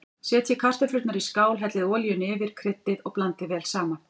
Setjið kartöflurnar í skál, hellið olíunni yfir, kryddið og blandið vel saman.